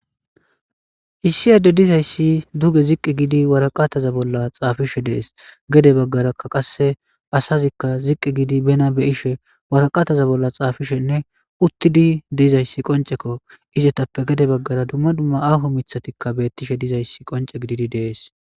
Issi adde dizayssi duge ziqqi gidi waraqataza bolla xaafishe dees gede baggarakka qasse asazikka ziqqi gidi bena be ishe waraqataza bolla xaafishenne uttidi diizayssi qoncekko izetappe gede baggara dumma dumma aho mithatikka beettishe dizayssi qonce gididi dees.